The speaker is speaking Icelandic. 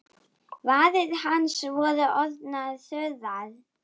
Varir hans voru orðnar þurrar.